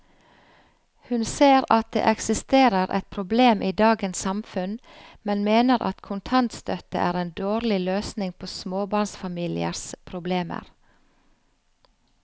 Hun ser at det eksisterer et problem i dagens samfunn, men mener at kontantstøtte er en dårlig løsning på småbarnsfamiliers problemer.